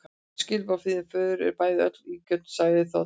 Öll skilaboð frá þínum föður eru bæði ill og ósanngjörn, sagði þá Daði.